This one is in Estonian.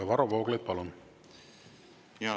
Varro Vooglaid, palun!